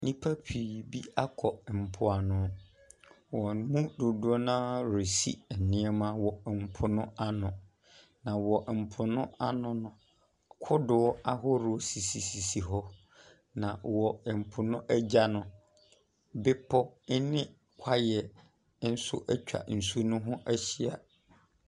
Nnipa pii bi akɔ mpoano. Wɔn mu dodoɔ no ara resi nneɛma wɔ mpo no ano, na wɔ mpo no ano no, kodoɔ ahoroɔ sisisisi hɔ, na wɔ mpo no agya no, bepɔ ne kwaeɛ nso atwa nsuo no ho ahyia.